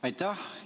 Aitäh!